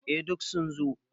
Eh duk sun zo.